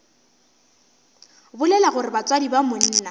bolela gore batswadi ba monna